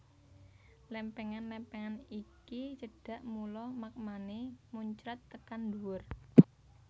Lèmpèngan lèmpèngan iki cedhak mula magmané muncrat tekan dhuwur